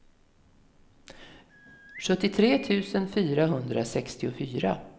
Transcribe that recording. sjuttiotre tusen fyrahundrasextiofyra